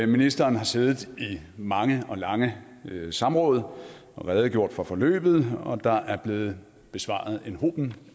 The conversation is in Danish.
ministeren har siddet i mange og lange samråd og redegjort for forløbet og der er blevet besvaret en hob